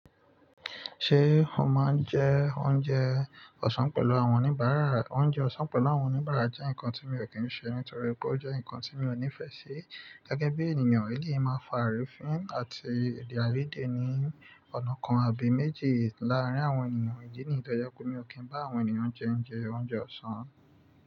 Ṣé o máa ń jẹ oúnjẹ ọ̀sán pẹ̀lú àwọn oníbàárà? Oúnjẹ ọ̀sán pẹ̀lú àwọn oníbàárà jẹ́ nǹkan tí mi ò kí n ṣe nítorí pé ó jẹ́ nǹkan tí mi ò nífẹ̀ẹ́ sí. Gẹ́gẹ́ bí ènìyàn, eléyìí máa ń fa àrífín àti ede aiyede ní ọ̀nà kan àbí méjì láàárín àwọn ènìyàn. Ìdí nìyí tó jẹ́ pe mi ò kí ń bá àwọn ènìyàn jẹ oúnjẹ ọ̀sán.